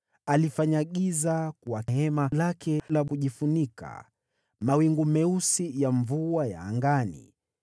Alifanya giza hema lake la kujifunika: mawingu meusi ya mvua ya angani.